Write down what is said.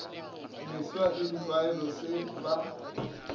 mefsa le ditlwaelo se ba